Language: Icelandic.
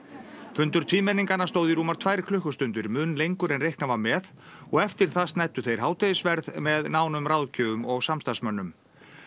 fundur tvímenninganna stóð í rúmar tvær klukkustundir mun lengur en reiknað var með og eftir það snæddu þeir hádegisverð með nánum ráðgjöfum og samstarfsmönnum